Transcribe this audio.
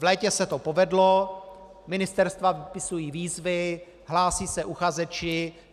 V létě se to povedlo, ministerstva vypisují výzvy, hlásí se uchazeči.